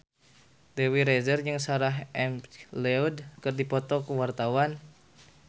Dewi Rezer jeung Sarah McLeod keur dipoto ku wartawan